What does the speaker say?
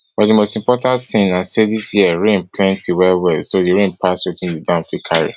but di most important tin na say dis year rain plenty well well so di rain pass wetin di dam fit carry